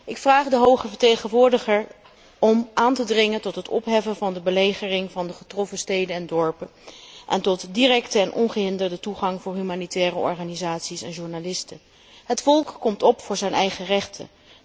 Ik vraag de hoge vertegenwoordiger om aan te dringen op opheffing van de belegering van de getroffen steden en dorpen en op directe en ongehinderde toegang voor humanitaire organisaties en journalisten. Het volk komt op voor zijn eigen rechten.